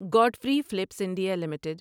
Godfrey Phillips India limited